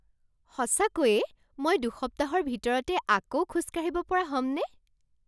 সঁচাকৈয়ে মই দুসপ্তাহৰ ভিতৰতে আকৌ খোজ কাঢ়িব পৰা হ'মনে?